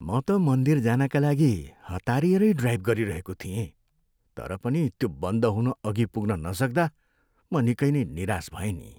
म त मन्दिर जानका लागि हतारिएरै ड्राइभ गरिरहेको थिएँ तर पनि त्यो बन्द हुनअघि पुग्न नसक्दा म निकै नै निराश भएँ नि।